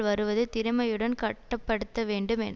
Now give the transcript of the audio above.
வருவது திறமையுடன் கட்டு படுத்த பட வேண்டுமென்